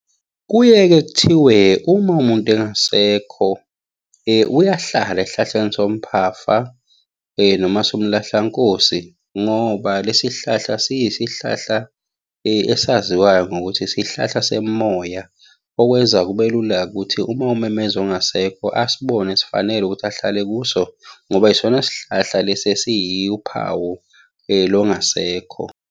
Kuye-ke kuthiwe, uma umuntu engasekho, uyahlala esihlahleni somphafa, noma somlahlankosi, ngoba lesi sihlahla siyisihlahla esaziwayo ngokuthi isihlahla semimoya. Okwenza kube lula-ke ukuthi uma umemeza ongasekho asibone sifanele ukuthi ahlale kuso, ngoba yisona sihlahla lesi esiyi wuphawu longasekho.